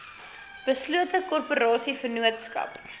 beslote korporasie vennootskap